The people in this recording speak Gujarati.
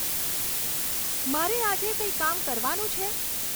મારે આજે કંઈ કામ કરવાનું છે